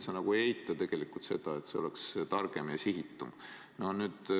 Sa nagu ei eita tegelikult seda, et see võiks olla targem ja sihitum.